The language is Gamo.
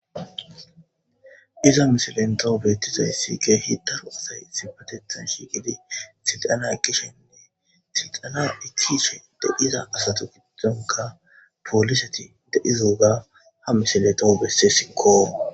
iza misilenta beettizay siige hiddaro asay sipatethan shiiqidi sixana ekishenne siixana ekishe de iza asato giddonka pooliseti deizouga ha misileto besse sikkoo